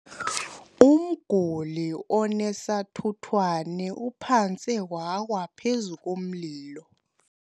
Umguli onesathuthwane uphantse wawa phezu komlilo.